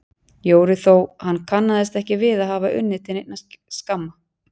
Jóru þó hann kannaðist ekki við að hafa unnið til neinna skamma.